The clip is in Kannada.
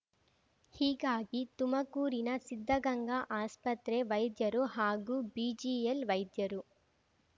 ಹೀಗಾಗಿ ತುಮಕೂರಿನ ಸಿದ್ಧಗಂಗಾ ಆಸ್ಪತ್ರೆ ವೈದ್ಯರು ಹಾಗೂ ಬಿಜಿಎಲ್ ವೈದ್ಯರು